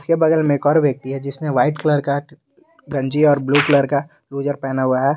के बगल में एक और व्यक्ति है जिसने व्हाइट कलर का गंजी और ब्लू कलर का लुजर पहना हुआ है।